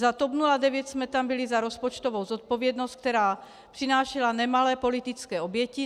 Za TOP 09 jsme tam byli za rozpočtovou zodpovědnost, která přinášela nemalé politické oběti.